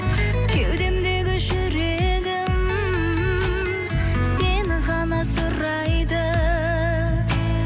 кеудемдегі жүрегім сені ғана сұрайды